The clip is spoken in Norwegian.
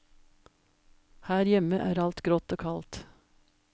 Her hjemme er alt grått og kaldt.